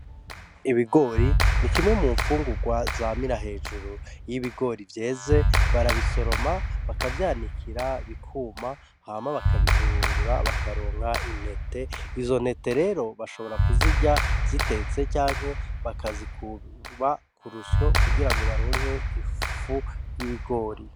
Ibigori ni kimwe mu nfungurwa zamira hejuru , iyo ibigori vyeze barabisoroma bakavyanikira bikuma hama bakabihurungura bakaronka intete, izo ntete rero bashobora kuzirya zitetse canke bakazikuba kurusyo kugira ngo baronke ifu y’ibigori.